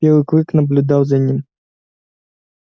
белый клык наблюдал за ним